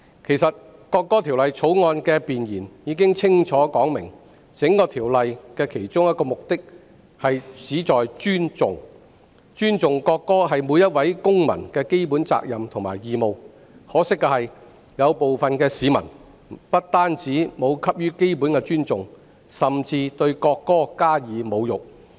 其實《條例草案》的弁言已經清楚說明，《條例草案》的其中一個目的是尊重國歌，這是每位公民的基本責任和義務，可惜，部分市民不但沒有給予國歌基本的尊重，甚至對國歌加以侮辱。